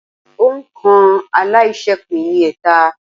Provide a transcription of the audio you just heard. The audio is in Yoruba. Òǹ̀kà aláiṣẹépín ni ẹẹ́ta.